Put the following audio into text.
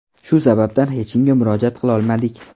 Shu sababdan hech kimga murojaat qilolmadik.